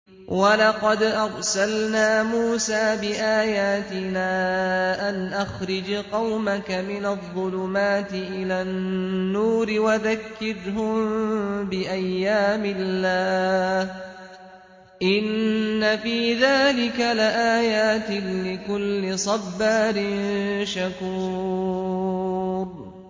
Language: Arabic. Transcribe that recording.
وَلَقَدْ أَرْسَلْنَا مُوسَىٰ بِآيَاتِنَا أَنْ أَخْرِجْ قَوْمَكَ مِنَ الظُّلُمَاتِ إِلَى النُّورِ وَذَكِّرْهُم بِأَيَّامِ اللَّهِ ۚ إِنَّ فِي ذَٰلِكَ لَآيَاتٍ لِّكُلِّ صَبَّارٍ شَكُورٍ